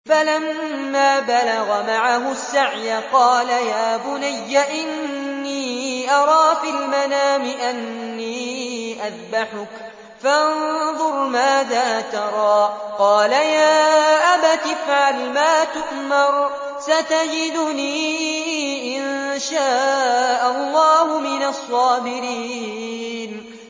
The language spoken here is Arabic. فَلَمَّا بَلَغَ مَعَهُ السَّعْيَ قَالَ يَا بُنَيَّ إِنِّي أَرَىٰ فِي الْمَنَامِ أَنِّي أَذْبَحُكَ فَانظُرْ مَاذَا تَرَىٰ ۚ قَالَ يَا أَبَتِ افْعَلْ مَا تُؤْمَرُ ۖ سَتَجِدُنِي إِن شَاءَ اللَّهُ مِنَ الصَّابِرِينَ